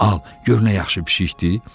Al, gör nə yaxşı pişikdir?